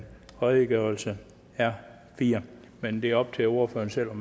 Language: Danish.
redegørelsen r fjerde men det er op til ordføreren selv